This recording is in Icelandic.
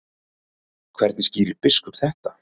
Hvernig skýrir biskup þetta?